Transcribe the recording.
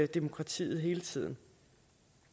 demokratiet hele tiden